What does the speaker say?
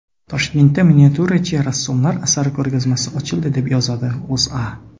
Toshkentda miniatyurachi rassomlar asarlari ko‘rgazmasi ochildi, deb yozadi O‘zA.